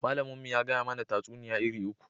Malamin mu ya gaya mana tatsuniya iri uku